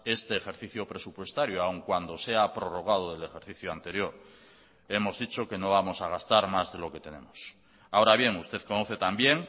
este ejercicio presupuestario aún cuando se ha prorrogado del ejercicio anterior hemos dicho que no vamos a gastar más de lo que tenemos ahora bien usted conoce también